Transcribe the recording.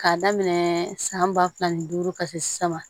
K'a daminɛ san ba fila ni duuru ka se saba